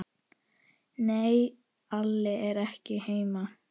Nei, Alli er ekki heima.